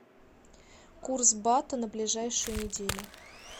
курс бата на ближайшую неделю